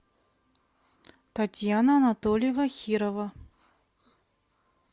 татьяна анатольева хирова